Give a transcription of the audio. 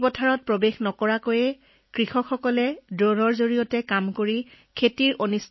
নিজৰ পথাৰত শ্ৰমিক নিয়োগ কৰি আমি যি কাম কৰিবলগীয়া হৈছিল সেই কাম আমি ড্ৰোনৰ সহায়ত পথাৰৰ কাষত থিয় হৈ সহজেই কৰিব পাৰো